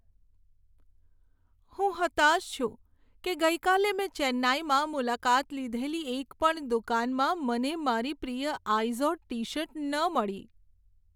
હું હતાશ છું કે ગઈકાલે મેં ચેન્નાઈમાં મુલાકાત લીધેલી એક પણ દુકાનમાં મને મારી પ્રિય આઈઝોડ ટી શર્ટ ન મળી.